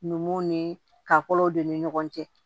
Numuw ni ka kolow don u ni ɲɔgɔn cɛ